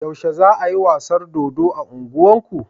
Yaushe za ayi wasan dodo a unguwar ku?